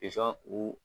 Pizɔn u